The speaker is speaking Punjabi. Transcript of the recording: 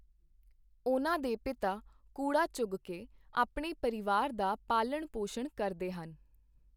ਉਨ੍ਹਾਂ ਦੇ ਪਿਤਾ ਕੂੜਾ ਚੁਗਕੇ ਆਪਣੇ ਪਰਿਵਾਰ ਦਾ ਪਾਲਣ ਪੌਸ਼ਣ ਕਰਦੇ ਹਨ।